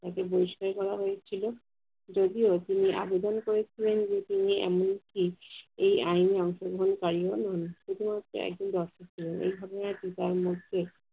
তাকে বহিস্ককার করা হয়েছিল। যদিও, তিনি আবেদন করেছিলেন যে তিনি এমনকি এই আইনে অংশগ্রহণকারিও নন, শুধুমাত্র একজন দর্শক ছিলেন। এই ঘটনাটি তার মধ্যে